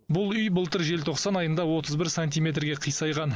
бұл үй былтыр желтоқсан айында отыз бір сантиметрге қисайған